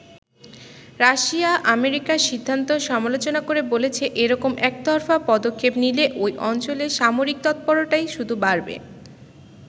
Russia আমেরিকার সিদ্ধান্তর সমালোচনা করে বলেছে, এরকম একতরফা পদক্ষেপ নিলে ওই অঞ্চলে সামরিক তৎপরতাই শুধু বাড়বে।